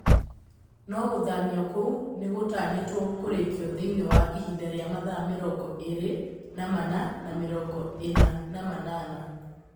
No gũthamio kũu nĩgũtanyĩtwo kũrĩkio thĩiniĩ wa ihinda rĩa mathaa mĩrongo ĩrĩ na mana na mĩrongo ĩna na manana